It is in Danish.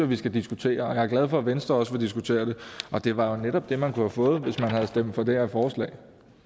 vi skal diskutere og jeg er glad for at venstre også vil diskutere det og det var jo netop det man kunne have fået hvis man havde stemt for det her forslag